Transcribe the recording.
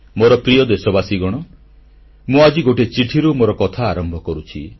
ମୋର ପ୍ରିୟ ଦେଶବାସୀଗଣ ମୁଁ ଆଜି ଗୋଟିଏ ଚିଠିରୁ ମୋର କଥା ଆରମ୍ଭ କରୁଛି